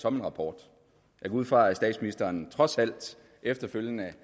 som en rapport jeg går ud fra at statsministeren trods alt efterfølgende